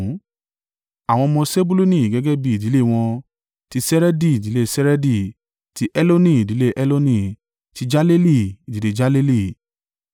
Àwọn ọmọ Sebuluni gẹ́gẹ́ bí ìdílé wọn: ti Seredi, ìdílé Seredi; ti Eloni, ìdílé Eloni; ti Jaleeli, ìdílé Jaleeli.